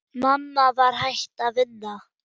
Mamma var hætt að vinna.